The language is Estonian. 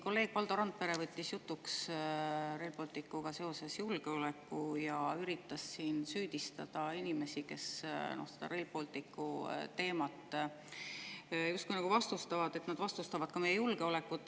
Kolleeg Valdo Randpere võttis Rail Balticuga seoses jutuks julgeoleku ja üritas süüdistada inimesi, kes Rail Balticu teemat justkui vastustavad, et nad vastustavad ka meie julgeolekut.